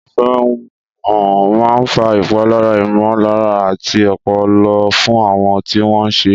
Ìfẹ̀hónúhàn máa ń fa ìpalára ìmọ̀lára àti ọpọlọ fún àwọn tí wọ́n ṣẹ̀.